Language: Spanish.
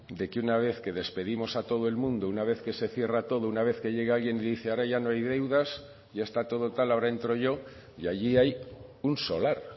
de que una vez que despedimos a todo el mundo una vez que se cierra todo una vez que llega alguien y dice ahora ya no hay deudas y ya está todo tal ahora entro yo y allí hay un solar